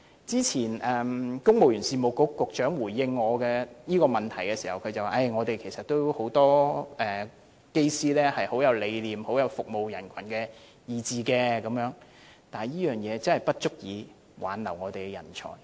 早前公務員事務局局長回應我這項問題時說，其實政府也有很多機師也是有服務人群的理念，但這點真的不足以挽留我們的人才。